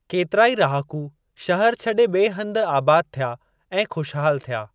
केतिराई रहाकू शहर छॾे ॿिए हंधु आबाद थिया ऐं ख़ुशहाल थिया।